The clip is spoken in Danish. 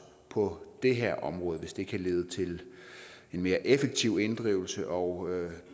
på det her område hvis det kan lede til en mere effektiv inddrivelse og